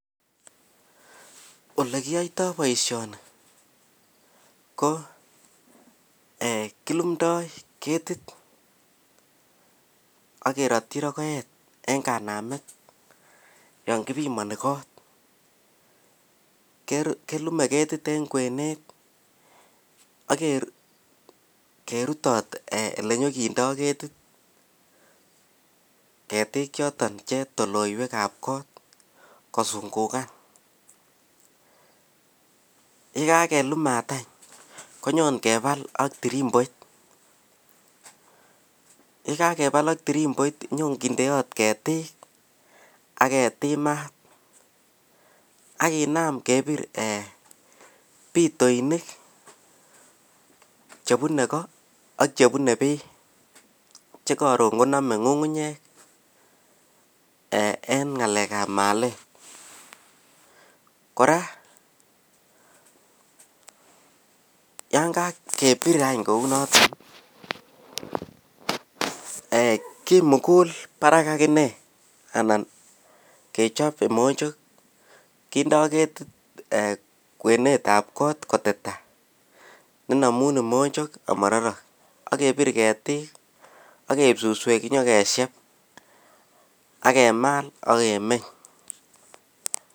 olekiyoitoo boishoni ko eeh kilumdoo ketikt ak kerotyi rogoet en kanamet yoon kibimoni koot, kelume ketit en kweneet ek kerutot elenyokindoo ketit ketiik choton che tolooywek ab kot kosungugan, yegakelumaat any konyon keba ak tirimboitt, yegagebaal ak tirimboit konyogindeot ketik ak ketiim maat ak kinaam kebiir eeh pitoinik chebune koo ak chebune bii chekoron konome ngungunyek en ngaleek ab malet, kora yaan kagebiir any kouunoton kimugul barak ak inee anan kechob kimonchok kindoo ketit kweneet ab koot koteta nenomuun kimonchok omororok, ak kebiir ketiik ak keib susweek nyagesyeeb ak kemaal ak kemeny.